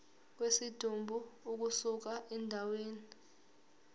kwesidumbu ukusuka endaweni